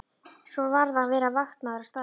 Svo varð að vera vaktmaður á staðnum.